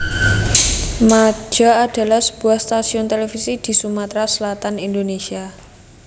Majta adalah sebuah stasiun televisi di Sumatera Selatan Indonesia